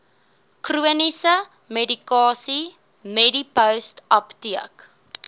chroniese medikasie medipostapteek